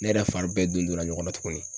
Ne yɛrɛ fari bɛɛ don donna ɲɔgɔn na tuguni.